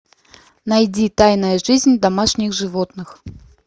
найди тайная жизнь домашних животных